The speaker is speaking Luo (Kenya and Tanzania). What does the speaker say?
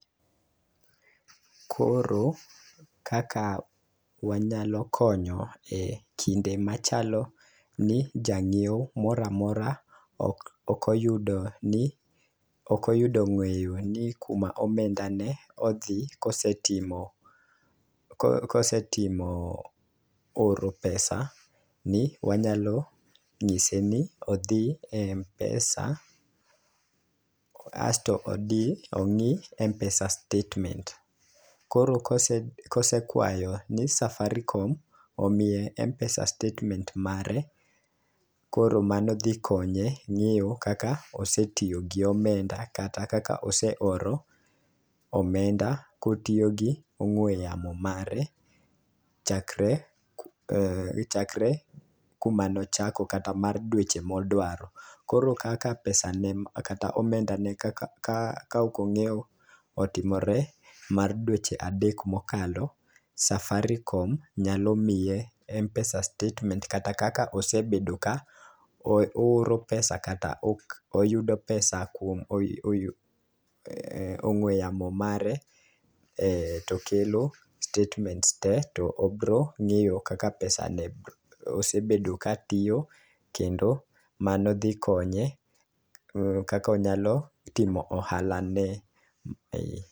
Koro kaka wanyalo konyo e kinde machalo ni janyiewo moramora ok oko yudo ni okoyudo ng'eyo ni kuma omenda ne odhi kosetimo ko kosetimo oro pesa ni wanyalo ng'ise ni odhi e mpesa asto odhi ong'i mpesa statement .Koro kose kosekwayo ni safarikom omiye mpesa statement mare koro mano dhi konye ng'eyo kaka oseiyo gomenda kata kaaka oseoro omde kotiyo gong'we yamo mare chakre chakre kuma nochako kata mar weche modwaro. Koro kaka pesa ne kata omenda ne ka ok ongeyo otimore mar dweche adek mokalo safarikom nyalo miye mpesa statement kata kaka osebedo ka ooro pesa kata oyudo pesa kuom oyu oyu ong'we yamo mare to kelo statements te to obro ng'eyo kaka pesa ne osebedo ka tiyo kendo mano dhi konye ng'eyo kakonyalo timo ohala ne